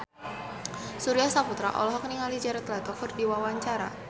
Surya Saputra olohok ningali Jared Leto keur diwawancara